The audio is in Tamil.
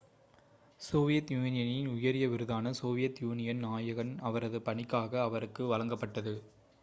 சோவியத் யூனியனின் உயரிய விருதான சோவியத் யூனியனின் நாயகன்' அவரது பணிக்காக அவருக்கு வழங்கப்பட்டது